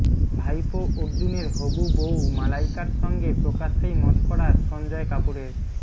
ভাইপো অর্জুনের হবু বউ মালাইকার সঙ্গে প্রকাশ্যেই মশকরা সঞ্জয় কাপুরের